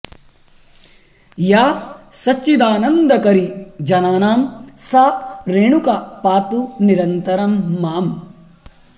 या सच्चिदानन्दकरी जनानां सा रेणुका पातु निरन्तरं माम्